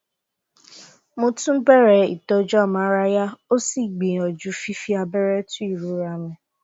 mo tún bẹrẹ ìtọjú amárayá ó sì gbìyàjú fífi abẹrẹ tu ìrora mi